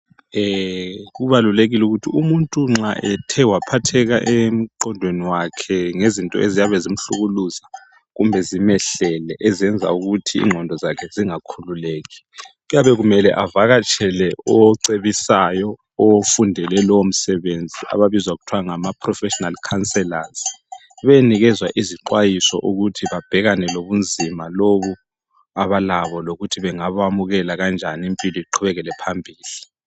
Kubalulekile ukuthi umuntu nxa ethe waphatheka emqondweni wakhe ngezinto eziyabe zimhlukuluza kumbe zimehlele ezenza ukuthi inqondo zakhe zingakhululeki kuyabe kumele avakatshele ocebisayo ofundele lowo msebenzi ababizwa ngokuthwa ngamaprofessional counsellors benikezwa izixwayiso ukuthi babhekane lobunzima lobu abalabo lokuthi bangakwamukela kanjani impilo iqhubekele phambili.